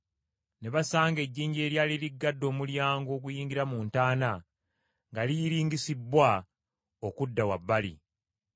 Ne basanga ejjinja eryali liggadde omulyango oguyingira mu ntaana, nga liyiringisibbwa okudda wabbali.